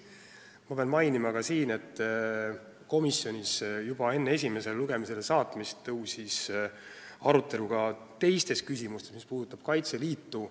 Pean siin mainima ka seda, et komisjonis tekkis enne eelnõu esimesele lugemisele saatmist arutelu ka teiste küsimuste üle, mis puudutavad Kaitseliitu.